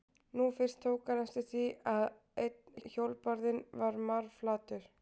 Nú fyrst tók hann eftir því að einn hjólbarðinn var marflatur.